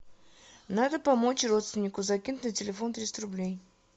надо помочь родственнику закинуть на телефон триста рублей